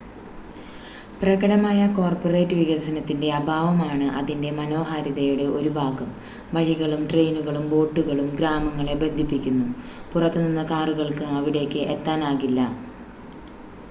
പ്രകടമായ കോർപ്പറേറ്റ് വികസനത്തിൻ്റെ അഭാവമാണ് അതിൻ്റെ മനോഹാരിതയുടെ ഒരു ഭാഗം വഴികളും ട്രെയിനുകളും ബോട്ടുകളും ഗ്രാമങ്ങളെ ബന്ധിപ്പിക്കുന്നു പുറത്തു നിന്ന് കാറുകൾക്ക് അവിടേക്ക് എത്താനാകില്ല